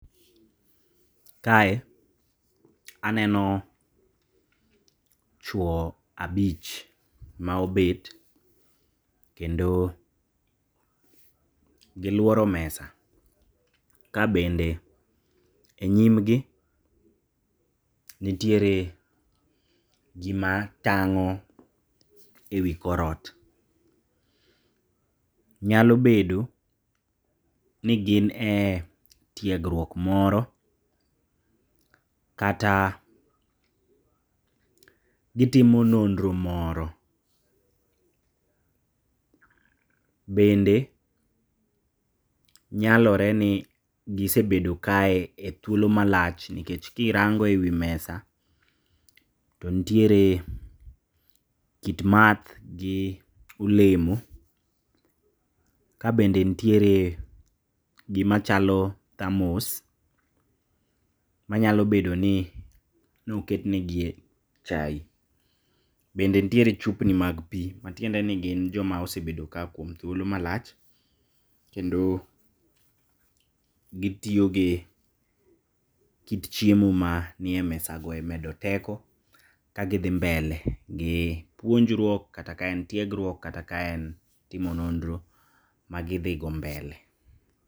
Kae aneno chwo abich maobet, kendo giluoro mesa. Kabende e nyimgi nitiere gima tang'o e wi korot. Nyalo bedo ni gin e tiegruok moro kata gitimo nonro moro, bende nyaloreni gisebedo kae e thuolo malach nikech kirango e wi mesa to ntiere kit madh gi olemo kabende ntiere gima chalo thermos manyalo bedoni noket negie chai. Bende ntiere chupni mag pii matiendeni gin joma osebedo ka kuom thuolo malach kendo gitiyo gi kit chiemo manie mesago emedo teko kagidhi mbele gi puonjruok, kata ka en tiegruok, kata ka en timo nonro magidhigo mbele.